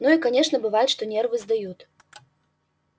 ну и конечно бывает что нервы сдают